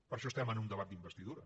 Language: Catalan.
per això estem en un debat d’investidura